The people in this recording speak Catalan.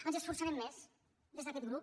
ens hi esforçarem més des d’aquest grup